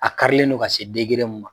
A karilen don ka se degere min ma